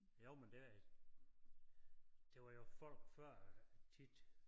Jo men det det var jo folk før tit